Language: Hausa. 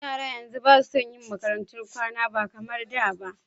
Yara yanzu basa son yi makarantun kwana ba kamar da ba